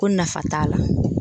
Ko nafa t'a la.